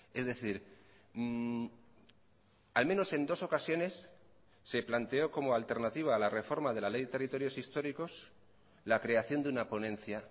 es decir al menos en dos ocasiones se planteó como alternativa a la reforma de la ley de territorios históricos la creación de una ponencia